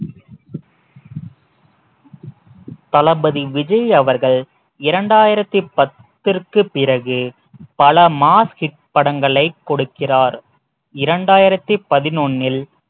தளபதி விஜய் அவர்கள் இரண்டாயிரத்தி பத்திற்கு பிறகு பல mass hit படங்களை கொடுக்கிறார் இரண்டாயிரத்தி பதினொன்னில்